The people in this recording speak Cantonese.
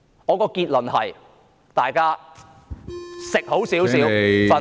我的結論是，大家吃好一點......